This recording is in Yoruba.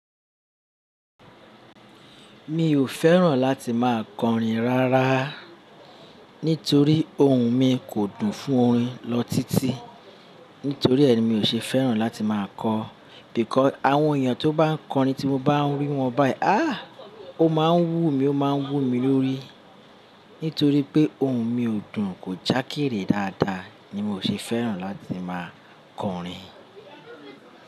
Mi ò fẹ́ràn láti máa kọrin rárá, nítorí ohùn mi kò dùn fún orin lọ títí. Nítorí ẹ mi ò ṣe fẹ́ràn láti máa kọ. Nítorí àwọn èèyàn tó bá ń kọrin tí mo bá ń rí wọn báyìí, aá! Ó máa ń wú mi, ó máa ń wú mi lórí. Nítorí pé ohùn mi ò dùn, kò jákèrè dáadáa ni mo ṣe fẹ́ràn láti máa kọrin.